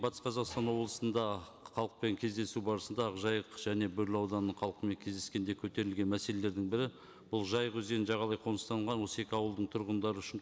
батыс қазақстан облысында халықпен кездесу барысында ақ жайық және бөрлі ауданының халқымен кездескенде көтерілген мәселелердің бірі бұл жайық өзенінің жағалай қоныстанған осы екі ауылдың тұрғындары үшін